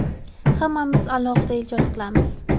Hammamiz alohida ijod qilamiz.